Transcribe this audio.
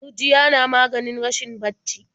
Gurjiya na maganin rashin bacci.